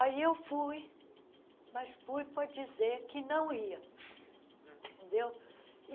Aí eu fui, mas fui para dizer que não ia, entendeu?